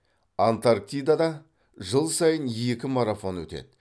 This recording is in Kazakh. антарктидада жыл сайын екі марафон өтеді